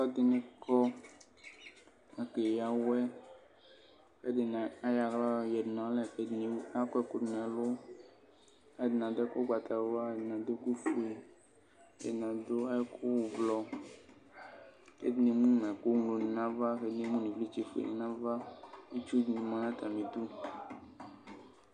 Alʋɛdini kɔ akeya awɛ kʋ ɛdini ayɔ aɣla yadʋ nʋ alɛ kʋ ɛdini akɔ ɛkʋdʋ nʋ ɛlʋ kʋ alʋ ɛdini adʋ ɛkʋ ʋgbatawla kʋ alʋɛdini adʋ ɛkʋfue ɛdini adʋ adʋ ɛkʋ ʋblɔ kʋ ɛdini emʋnʋ ɛkɔŋlo dini nʋ ava kʋ ɛdini emʋnʋ ivlitsɛ fue nʋ ava kʋ itsu dini manʋ atami idʋ